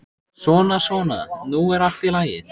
Svona, svona, nú er allt í lagi.